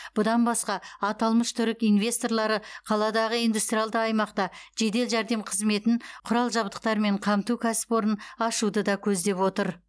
бұдан басқа аталмыш түрік инвесторлары қаладағы индустриалды аймақта жедел жәрдем қызметін құрал жабдықтармен қамту кәсіпорнын ашуды да көздеп отыр